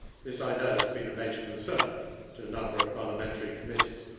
This I know has been a major concern to a number of parliamentary committees.